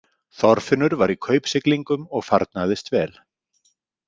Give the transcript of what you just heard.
Þorfinnur var í kaupsiglingum og farnaðist vel.